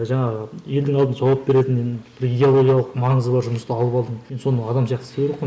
жаңағы елдің алдында жауап беретін бір идеологиялық маңызы бар жұмысты алып алдың енді соны адам сияқты істеу керек қой